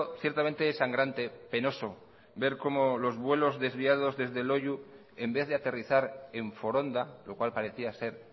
ciertamente sangrante penoso ver cómo los vuelos desviados desde loiu en vez de aterrizar en foronda lo cual parecía ser